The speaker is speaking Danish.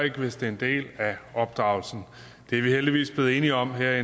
ikke hvis det er en del af opdragelsen det er vi heldigvis blevet enige om her